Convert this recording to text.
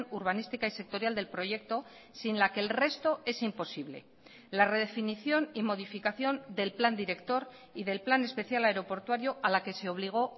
urbanística y sectorial del proyecto sin la que el resto es imposible la redefinición y modificación del plan director y del plan especial aeroportuario a la que se obligó